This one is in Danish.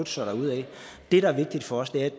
sig derudad det der er vigtigt for os er at